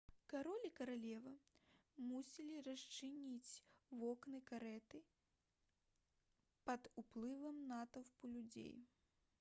кароль і каралева мусілі расчыніць вокны карэты пад уплывам натоўпу людзей